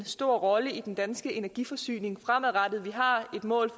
stor rolle i den danske energiforsyning fremadrettet vi har et mål